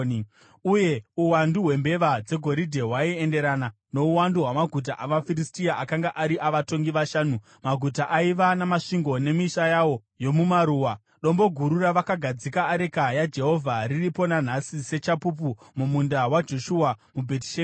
Uye uwandu hwembeva dzegoridhe hwaienderana nouwandu hwamaguta avaFiristia akanga ari avatongi vashanu, maguta aiva namasvingo nemisha yawo yomumaruwa. Dombo guru ravakagadzika areka yaJehovha, riripo nanhasi sechapupu mumunda waJoshua weBhetishemeshi.